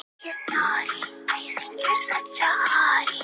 spurði mamma og skolaði af diskunum.